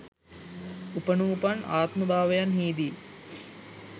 උපනුපන් ආත්මභාවයන්හිදී